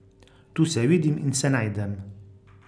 Tu se vidim in se najdem.